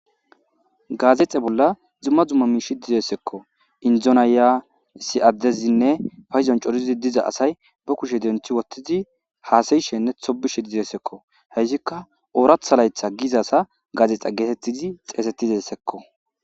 gaazexe bolla zumma zumma miishi dizeessekko indzonaya si7addezinne fayzon corizi diza asay ba kushe denti wottizi haasayishenne thobishe dizeessekko hessikka ooratha laytha gizasa gaazexe geetettizi xeesetizessekko